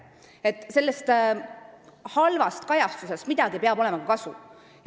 Kogu sellest halvast kajastusest peab olema ka midagi kasu.